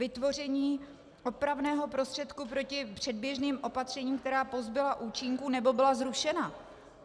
Vytvoření opravného prostředku proti předběžným opatřením, která pozbyla účinku nebo byla zrušena.